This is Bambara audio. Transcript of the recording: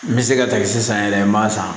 N bɛ se ka ta sisan yɛrɛ n m'a san